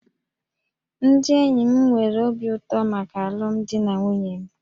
Ndị enyi m nwere obi ụtọ maka alụmdi na nwunye m